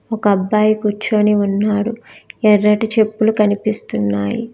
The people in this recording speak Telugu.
ఒక అబ్బాయి కూర్చొని ఉన్నాడు ఎర్రటి చెప్పులు కనిపిస్తున్నాయి.